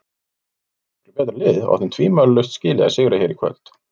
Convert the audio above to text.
Við vorum miklu betra liðið og áttum tvímælalaust skilið að sigra hér í kvöld.